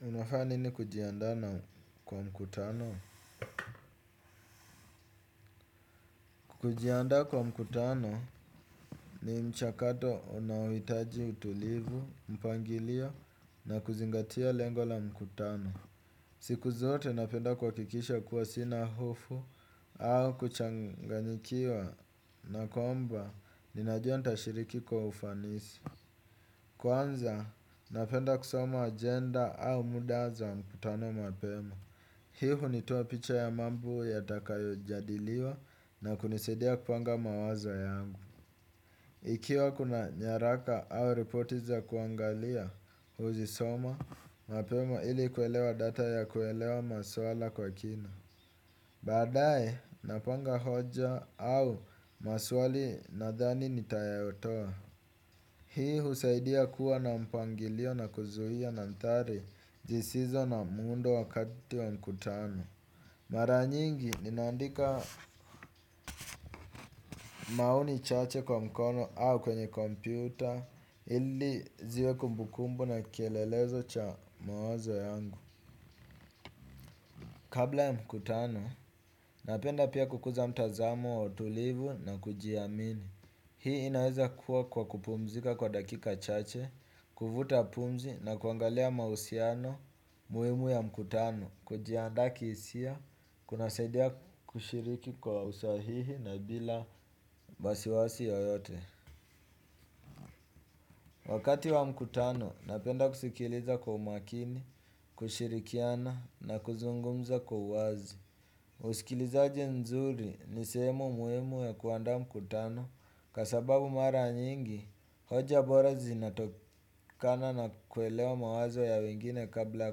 Unafanya nini kujiandaa na kwa mkutano? Kujiandaa kwa mkutano ni mchakato unaohitaji utulivu, mpangilio na kuzingatia lengo la mkutano. Siku zote napenda kuhakikisha kuwa sina hofu au kuchanganyikiwa na kwamba ninajua ntashiriki kwa ufanisi. Kwanza napenda kusoma agenda au muda za mkutano mapema. Hii hunitoa picha ya mambo yatakayo jadiliwa na kunisaidia kupanga mawazo yangu. Ikiwa kuna nyaraka au ripoti za kuangalia huzisoma, mapema ili kuelewa data ya kuelewa maswala kwa kina. Badaye, napanga hoja au maswali nathani nitayatoa. Hii husaidia kuwa na mpangilio na kuzuia mandhari zisizo na muundo wakati wa mkutano. Mara nyingi ninaandika maoni chache kwa mkono au kwenye kompyuta ili ziwe kumbukumbu na kielelezo cha mawazo yangu. Kabla ya mkutano napenda pia kukuza mtazamo wa utulivu na kujiamini. Hii inaweza kuwa kwa kupumzika kwa dakika chache, kuvuta pumzi na kuangalia mahusiano muhimu ya mkutano. Kujiandaa kihisia, kunasaidia kushiriki kwa usahihi na bila wasiwasi yoyote. Wakati wa mkutano, napenda kusikiliza kwa umakini, kushirikiana na kuzungumza kwa uwazi. Usikilizaji nzuri ni sehemu muhimu ya kuandaa mkutano. Kwa sababu mara nyingi, hoja bora zinatokana na kuelewa mawazo ya wengine kabla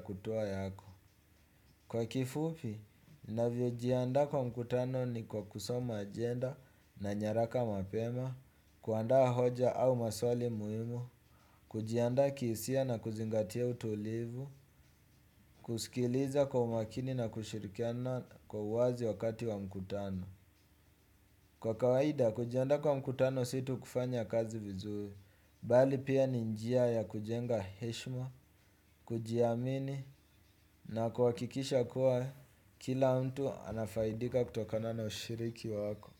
kutoa yako. Kwa kifupi, navyojiandaa kwa mkutano ni kwa kusoma agenda na nyaraka mapema, kuandaa hoja au maswali muhimu, kujiandaa kihisia na kuzingatia utulivu, kusikiliza kwa umakini na kushirikiana kwa uwazi wakati wa mkutano. Kwa kawaida kujiandaa kwa mkutano si tu kufanya kazi vizuri, bali pia ni njia ya kujenga heshima, kujiamini na kuhakikisha kuwa kila mtu anafaidika kutokana na ushiriki wako.